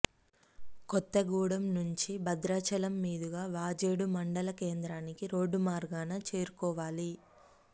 కొత్తగూడెం నుంచి భద్రాచలం మీదుగా వాజేడు మండల కేంద్రానికి రోడ్డు మార్గాన చేరుకోవాలి